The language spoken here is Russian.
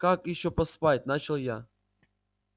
как ещё поспать начал я